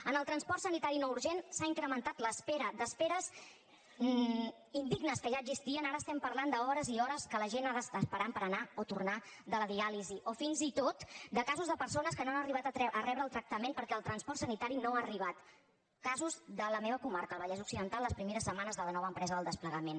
en el transport sanitari no urgent s’ha incrementat l’espera d’esperes indignes que ja existien ara estem parlant d’hores i hores que la gent ha d’estar esperant per anar o tornar de la diàlisi o fins i tot de casos de persones que no han arribat a rebre el tractament perquè el transport sanitari no ha arribat casos de la meva comarca el vallès occidental les primeres setmanes de la nova empresa del desplegament